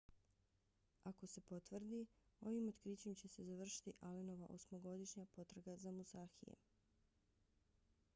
ako se potvrdi ovim otkrićem će se završiti allenova osmogodišnja potraga za musashijem